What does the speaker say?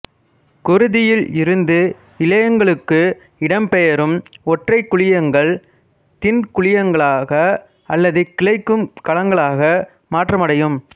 குருதியில் இருந்து இழையங்களுக்கு இடம் பெயரும் ஒற்றைக் குழியங்கள் தின்குழியங்களக அல்லது கிளைக்கும் கலங்களாக மாற்றமடையும்